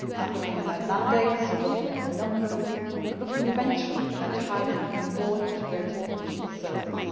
looking at their mandates, looking at the numbers, and looking eventually at how they can be more integrated into